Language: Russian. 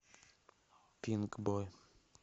пинкбой